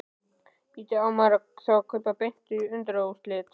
Bíddu. á maður þá að kaupa miða beint á undanúrslitin?